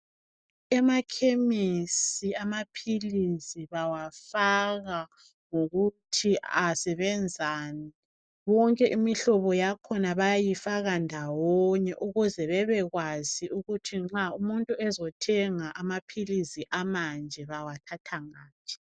Emakhemisi amaphilisi bawafaka ngokuthi asebenzani. Wonke imihlobo yakhona bayayifaka ndawonye ukuze bebekwazi ukuthi nxa umuntu ezothenga amaphilisi amanje bawathatha ngaphi.